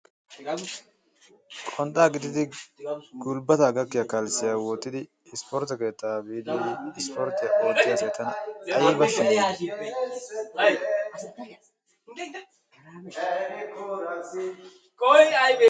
Qonxaa gixxidi gulbataa gakkiya kalssiya wottidi ispportte keettaa biidi issporttiya ootiya asata ayba siyeetii?